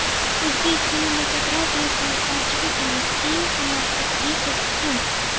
O‘zbek kinematografiyasining hozirgi kundagi eng qimmat aktrisasi kim?